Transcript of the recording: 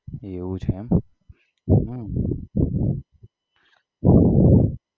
એવું છે એમ હમ